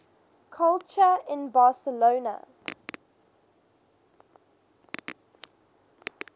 culture in barcelona